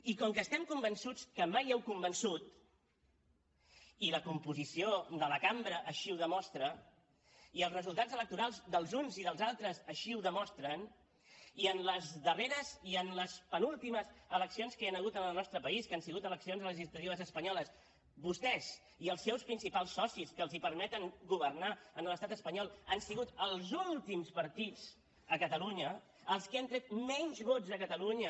i com que estem convençuts que mai han convençut i la composició de la cambra així ho demostra i els resultats electorals dels uns i dels altres així ho demostren i en les darreres i en les penúltimes eleccions que hi han hagut en el nostre país que han sigut eleccions legislatives espanyoles vostès i els seus principals socis que els permeten governar a l’estat espanyol han sigut els últims partits a catalunya els que han tret menys vots a catalunya